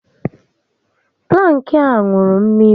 Plank a ṅụrụ mmiri